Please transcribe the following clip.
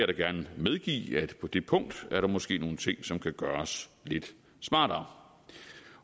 da gerne medgive at på det punkt måske er nogle ting som kan gøres lidt smartere